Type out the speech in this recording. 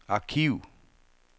arkiv